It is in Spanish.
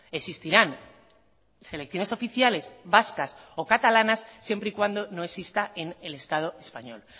existirán selecciones oficiales vascas o catalanas siempre y cuando no exista en el estado español